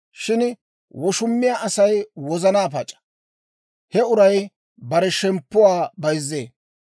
Shin woshumiyaa Asay wozana pac'a; he uray bare shemppuwaa bayzzee.